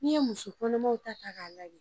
Ni ye muso kɔnɔmaw ta ta ka lajɛ.